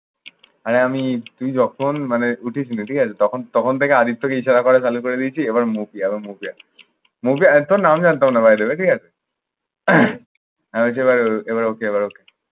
আর আমি যখন মানে উঠেছিল ঠিক আছে? তখন তখন থেকে আদিত্যকে ইশারা করা চালু করে দিয়েছি এবার মুক্তি এবার মুখ দেখ। একদম নাম জানতাম না by the way ঠিক আছে? এবার okay এবার okay